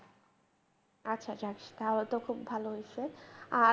আচ্ছা আচ্ছা তাহলে তো খুব ভাল হত আর